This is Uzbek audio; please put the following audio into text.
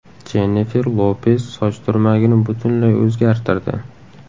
Jennifer Lopes soch turmagini butunlay o‘zgartirdi.